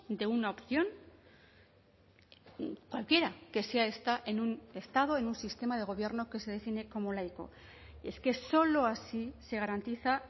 de una opción cualquiera que sea esta en un estado en un sistema de gobierno que se define como laico es que solo así se garantiza